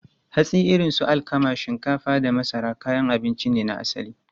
Hatsi irin su alkama, shinkafa, da masara kayan abinci ne na asali.